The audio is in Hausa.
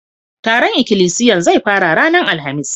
Taron ikilisiyan zai fara ranan Alhamis.